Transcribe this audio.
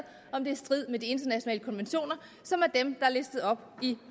om i strid med de internationale konventioner som er dem er listet op i